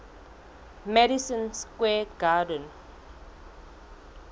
madison square garden